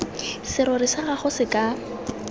serori sa gago se ka